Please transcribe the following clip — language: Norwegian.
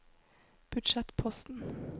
budsjettposten